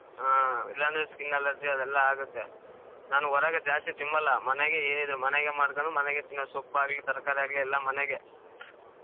ಹಾ ಇಲ್ಲಾಂದ್ರೆ skin allergy ಅವೆಲ್ಲಾ ಆಗತ್ತೆ. ನಾನು ಹೊರಗೆ ಜಾಸ್ತಿ ತಿನಲ್ಲಾ ಮನೆಗೆ ಏನಿದ್ರೂ ಮನೆಗೆ ಮಾಡ್ಕೊಂಡು ಮನೆಗೆ ತಿನ್ನೋದು ಸೊಪ್ಪಾಗ್ಲಿ ತರಕಾರಿ ಆಗ್ಲಿ ಎಲ್ಲಾ ಮನೆಗೆ.